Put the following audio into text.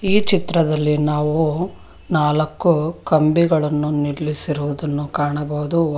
ಈ ಚಿತ್ರದಲ್ಲಿ ನಾವು ನಾಲಕ್ಕು ಕಂಬಿಗಳನ್ನು ನಿಲ್ಲಿಸಿರುವುದನ್ನು ಕಾಣಬಹುದು.